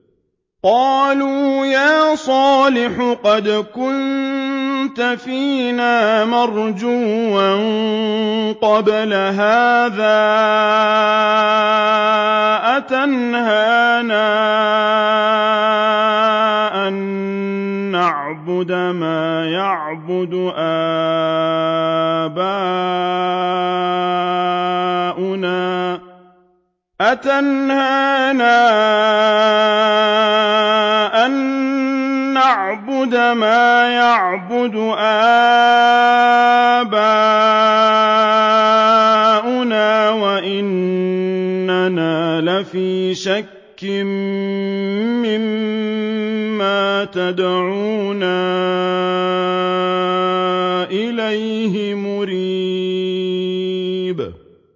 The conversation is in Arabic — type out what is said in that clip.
قَالُوا يَا صَالِحُ قَدْ كُنتَ فِينَا مَرْجُوًّا قَبْلَ هَٰذَا ۖ أَتَنْهَانَا أَن نَّعْبُدَ مَا يَعْبُدُ آبَاؤُنَا وَإِنَّنَا لَفِي شَكٍّ مِّمَّا تَدْعُونَا إِلَيْهِ مُرِيبٍ